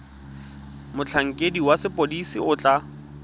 motlhankedi wa sepodisi o tla